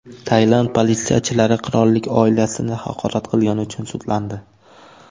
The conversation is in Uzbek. Tailand politsiyachilari qirollik oilasini haqorat qilgani uchun sudlandi.